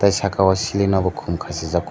tei saka o siling o bo kom kasijako.